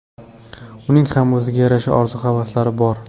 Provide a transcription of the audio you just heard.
Uning ham o‘ziga yarasha orzu-havaslari bor.